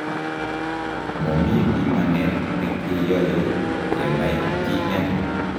Momi bimanet nekeyoe kenai TN